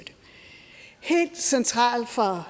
helt centralt for